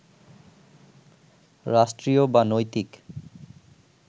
রাষ্ট্রীয় বা নৈতিক